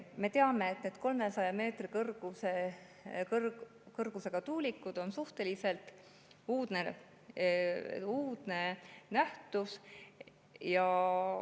Me teame, et 300 meetri kõrgused tuulikud on suhteliselt uudne nähtus.